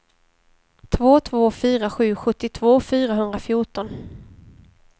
två två fyra sju sjuttiotvå fyrahundrafjorton